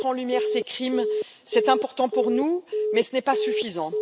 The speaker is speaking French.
Mettre en lumière ces crimes est important pour nous, mais ce n'est pas suffisant.